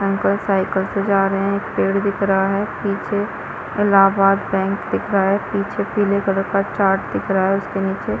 uncle cycle से जा रहे है एक पेड़ दिख रहा है पीछे इलाहाबाद बैंक दिख रहा है पीछे पीले कलर का चार्ट दिख रहा है उसके नीचे --